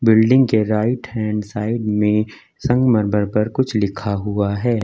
Building के right hand side में संगमरमर पर कुछ लिखा हुआ है।